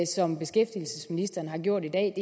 som beskæftigelsesministeren har gjort i dag